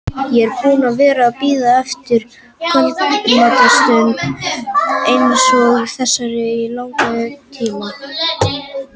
Ég er búinn að vera að bíða eftir kvöldstund eins og þessari í langan tíma.